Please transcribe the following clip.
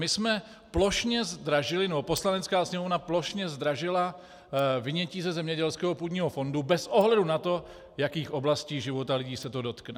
My jsme plošně zdražili, nebo Poslanecká sněmovna plošně zdražila vynětí ze zemědělského půdního fondu bez ohledu na to, jakých oblastí života lidí se to dotkne.